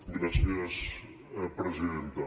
gràcies presidenta